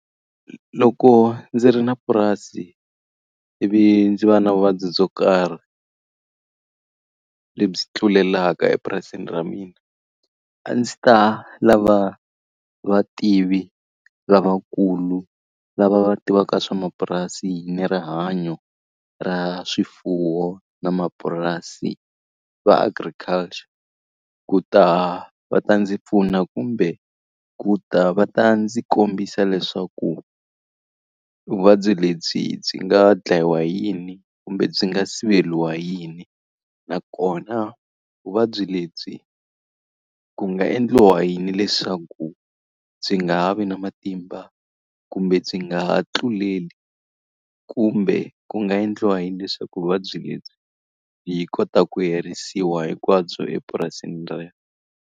Loko ndzi ri na purasi ivi ndzi va na vuvabyi byo karhi, lebyi tlulelaka epurasini ra mina, a ndzi ta lava vativi lavakulu lava va tivaka swa mapurasi ni rihanyo ra swifuwo na mapurasi, va agriculture. Ku ta va ta ndzi pfuna kumbe ku ta va ta ndzi kombisa leswaku vuvabyi lebyi byi nga dlayiwa yini kumbe byi nga siveriwa yini. Nnakona vuvabyi lebyi ku nga endliwa yini leswaku byi nga ha vi na matimba kumbe byi nga ha tluleli, kumbe ku nga endliwa yini leswaku vuvabyi lebyi byi kotaka ku herisiwa hinkwabyo epurasini rero.